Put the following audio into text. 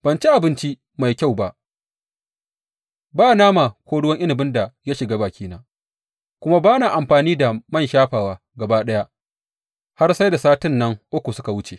Ban ci abinci mai kyau ba; ba nama ko ruwa inabin da ya shiga bakina; kuma ba na amfani da man shafawa gaba ɗaya har sai da sati nan uku suka wuce.